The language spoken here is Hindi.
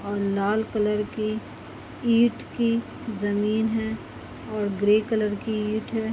--और लाल कलर की ईंट की जमीन है और ग्रे कलर की ईट है।